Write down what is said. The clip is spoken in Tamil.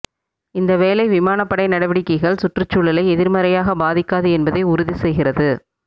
இந்த வேலை விமானப்படை நடவடிக்கைகள் சுற்றுச்சூழலை எதிர்மறையாக பாதிக்காது என்பதை உறுதி செய்கிறது